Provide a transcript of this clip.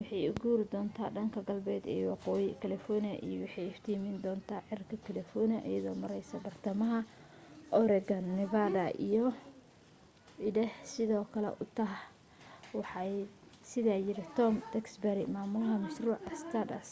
waxay u guuri doonta dhanka galbeedka ee waqooyiga california iyo waxay iftiimin doonta cirka california iyado mareysa bartamaha oregon iyo nevada iyo idaho sidoo kale utah waxaa sidaa yidhi tom duxbury mamulaha mashruuca stardust